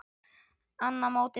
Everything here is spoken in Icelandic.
Annað mótið búið!